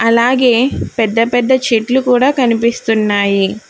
అలాగే పెద్ద పెద్ద చెట్లు కూడా కనిపిస్తున్నాయి.